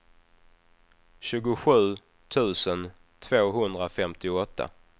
tjugosju tusen tvåhundrafemtioåtta